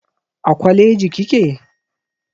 A kwaleji kike?